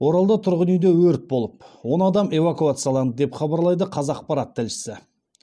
оралда тұрғын үйде өрт болып он адам эвакуацияланды деп хабарлайды қазақпарат тілшісі